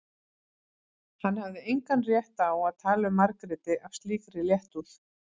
Hann hafði engan rétt á að tala um Margréti af slíkri léttúð.